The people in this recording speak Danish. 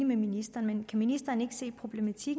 med ministeren men kan ministeren ikke se problemet i